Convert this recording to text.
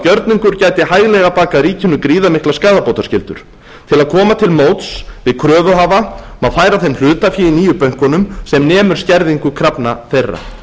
gjörningur gæti hæglega bakað ríkinu gríðarmikla skaðabótaskyldur til að koma til móts við kröfuhafa má færa þeim hlutafé í nýju bönkunum sem nemur skerðingu krafna þeirra